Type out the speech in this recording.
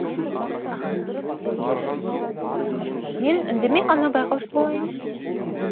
мен үндемей ғана байқаушы болайын